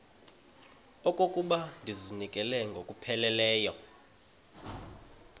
okokuba ndizinikele ngokupheleleyo